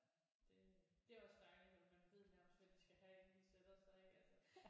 Det det er også dejligt at man ved nærmest hvad de skal have inden de sætter sig ik altså